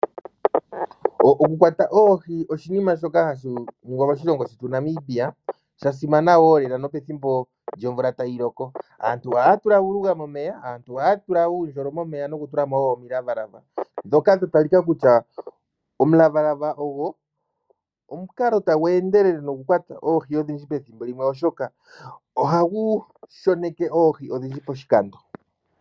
Oku kwatà oohi oshinima shoka hashi ningwa noshasimana moshilongo shetu shaNamibia unene tuu pethimbo lyomvula. Aantu ohaya tula uundjolo momeya nokutulamo omulavalava ngoka gwa talikako kutya omukalo hagu endelele nokushoneka oohi odhindji poshikando.